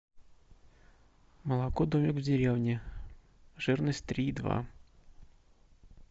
молоко домик в деревне жирность три и два